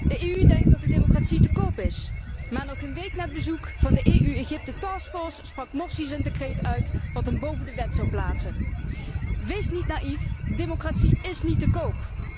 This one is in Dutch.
De EU denkt dat de democratie te koop is. Maar nog geen week na het bezoek van de EU Egypte taskforce sprak Morsi zijn decreet uit, dat hem boven de wet zou plaatsen. Wees niet naïef, democratie is niet te koop!